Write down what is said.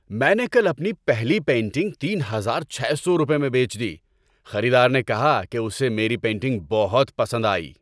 میں نے کل اپنی پہلی پینٹنگ تین ہزار چھے سو روپے میں بیچ دی۔ خریدار نے کہا کہ اسے میری پینٹنگ بہت پسند آئی!